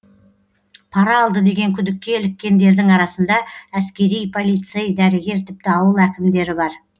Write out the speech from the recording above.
пара алды деген күдікке іліккендердің арасында әскери полицей дәрігер тіпті ауыл әкімдері бар